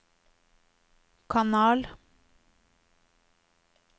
kanal